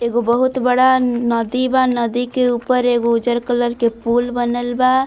एगो बहुत बड़ा नदी बा नदी के ऊपर एगो उज्जर कलर के पूल बनल बा।